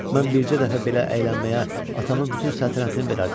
Mən bircə dəfə belə əylənməyə atamın bütün səltənətini verərdim.